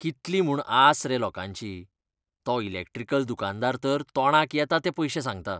कितली म्हूण आस रे लोकांची, तो इलॅक्ट्रिकल दुकानकार तर तोंडाक येता ते पयशे सांगता.